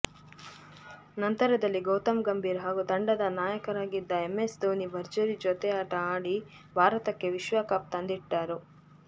ನಂತರದಲ್ಲಿ ಗೌತಮ್ ಗಂಭೀರ್ ಹಾಗೂ ತಂಡದ ನಾಯಕರಾಗಿದ್ದ ಎಂಎಸ್ ಧೋನಿ ಭರ್ಜರಿ ಜೊತೆಯಾಟ ಆಡಿ ಭಾರತಕ್ಕೆ ವಿಶ್ವಕಪ್ ತಂದಿಟ್ಟರು